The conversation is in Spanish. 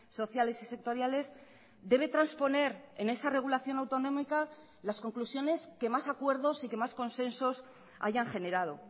sociales y sectoriales debe trasponer en esa regulación autonómica las conclusiones que más acuerdos y que más consensos hayan generado